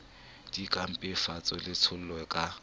di ka mpefatsa letshollo la